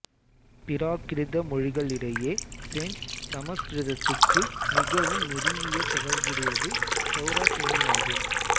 பிராகிருத மொழிகளிடையே செஞ் சமசுகிருதத்துக்கு மிகவும் நெருங்கிய தொடர்புடையது சௌரசேனியாகும்